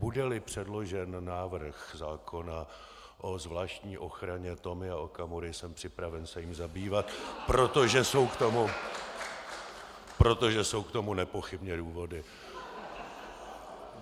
Bude-li předložen návrh zákona o zvláštní ochraně Tomia Okamury, jsem připraven se jím zabývat , protože jsou k tomu nepochybně důvody.